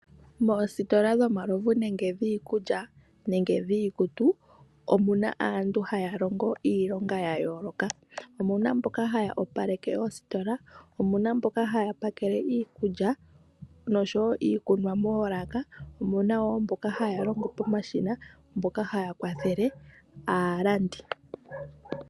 Moositola dhomalovu nenge dhiikulya, nenge dhiikutu, omuna aantu haya longo iilonga ya yooloka. Omuna mboka haya opaleke oositola, omuna mboka haya pakele iikulya, noshowo iikunwa moolaka. Omuna wo mboka haya longo pomashina, mboka haya kwathele aalandi.